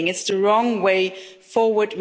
anyone. It's the wrong way forward.